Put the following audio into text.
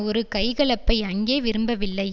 ஒரு கைகலப்பை அங்கே விரும்பவில்லை